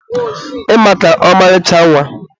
ị maka, ọmarịcha nwa.